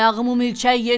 Ayağımı mülçək yedi!